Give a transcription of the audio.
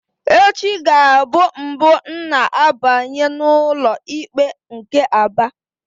Echi ga-abụ mbụ m na-abanye n'ụlọikpe nke Aba.